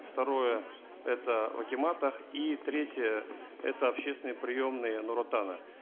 второе это в акиматах и третье это общественные приемные нур отана